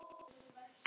Tíminn leið hratt.